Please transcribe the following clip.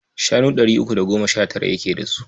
Shanu ɗari uku da goma sha tara yake da su.